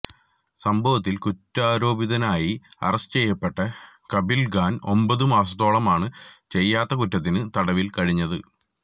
സംഭവത്തിൽ കുറ്റാരോപിതനായി അറസ്റ്റ് ചെയ്യപ്പെട്ട കഫീൽ ഖാൻ ഒമ്പത് മാസത്തോളമാണ് ചെയ്യാത്ത കുറ്റത്തിന് തടവിൽ കഴിഞ്ഞത്